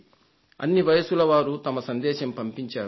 అన్ని వయస్సుల వారు వారి సందేశం పంపించారు